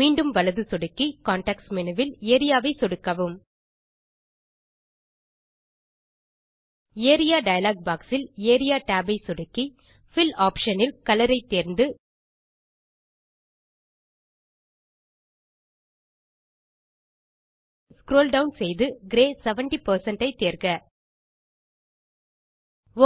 மீண்டும் வலது சொடுக்கி கான்டெக்ஸ்ட் மேனு வில் Areaவை சொடுக்கவும் ஏரியா டயலாக் பாக்ஸ் இல் ஏரியா tab ஐ சொடுக்கி பில் ஆப்ஷன் இல் கலர் ஐ தேர்ந்து ஸ்க்ரோல் டவுன் செய்து கிரே 70 ஐ தேர்க